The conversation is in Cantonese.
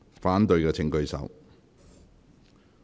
反對的請舉手。